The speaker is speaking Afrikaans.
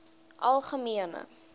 algemene